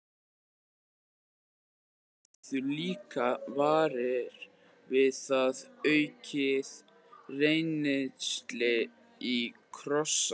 Kristján: Menn urðu líka varir við það, aukið rennsli í Krossá?